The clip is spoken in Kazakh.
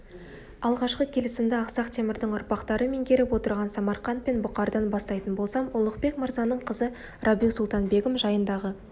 алғашқы келісімді ақсақ темірдің ұрпақтары меңгеріп отырған самарқант пен бұқардан бастайтын болсам ұлықбек мырзаның қызы рабиу-сұлтан-бегім жайындағы